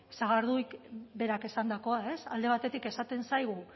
sagarduik berak esandakoa ez alde batetik esaten zaigu